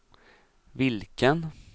vilken